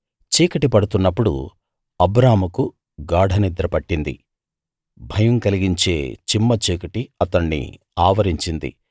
చీకటి పడుతున్నప్పుడు అబ్రాముకు గాఢ నిద్ర పట్టింది భయం కలిగించే చిమ్మచీకటి అతణ్ణి ఆవరించింది